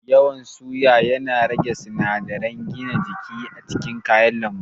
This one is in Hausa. Yawan suya yana rage sinadiran gina jiki a cikin kayan lambu